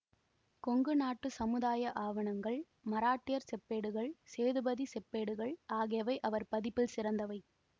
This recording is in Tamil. கொங்கு நாட்டு சமுதாய ஆவணங்கள் மராட்டியர் செப்பேடுகள் சேதுபதி செப்பேடுகள் ஆகியவை அவர் பதிப்பில் சிறந்தவை